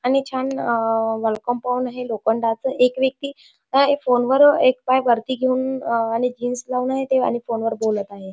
आणि छान wall compound आहे लोखंडाच एक व्यक्ति फोन वर एक पाय वरती घेऊन आणि जीन्स लावून आहे आणि फोनवर बोलत आहे.